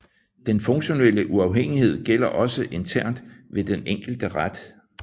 Den funktionelle uafhængighed gælder også internt ved den enkelte ret